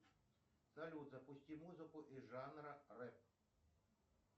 салют запусти музыку из жанра рэп